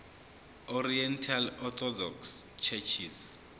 oriental orthodox churches